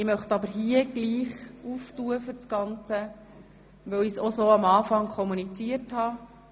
Dennoch möchte ich die Debatte eröffnen, weil ich dies am Anfang so kommuniziert habe.